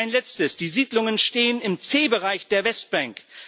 Ein Letztes Die Siedlungen stehen im C Bereich der Westbank.